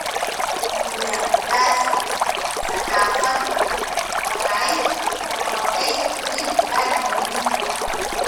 Muddadaas, saxaafaddu waxay noqotay mid aad muhiim u ah.